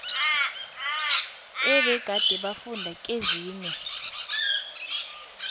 ebegade bafunda kezinye